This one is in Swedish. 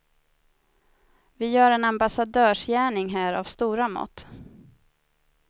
Vi gör en ambassadörsgärning här av stora mått.